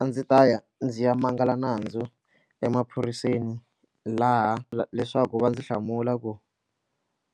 A ndzi ta ya ndzi ya mangala nandzu emaphoriseni laha leswaku va ndzi hlamula ku